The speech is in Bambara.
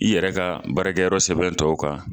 I yɛrɛ ka baarakɛyɔrɔ sɛbɛn tɔw kan.